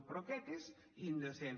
però aquest és indecent